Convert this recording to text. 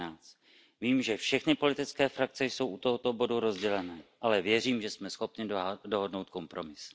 13. Vím, že všechny politické frakce jsou u tohoto bodu rozdělené, ale věřím, že jsme schopni dohodnout kompromis.